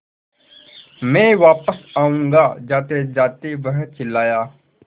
मैं वापस आऊँगा जातेजाते वह चिल्लाया